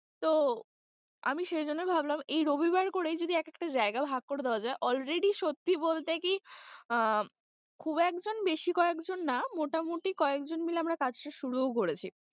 তো আমি সেজন্যে ভাবলাম এই রবিবার করেই যদি এক একটা জায়গা ভাগ করে দেওয়া যায় already সত্যি বলতে কি আহ খুব একজন বেশি কয়েকজন না মোটামুটি কয়েকজন মিলে আমরা কাজটা শুরুও করেছি।